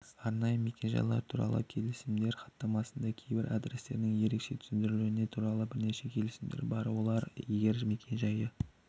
арнайы мекен-жайлар туралы келісімдер хаттамасында кейбір адрестерінің ерекше түсіндірулері туралы бірнеше келісімдер бар олар егер мекен-жайы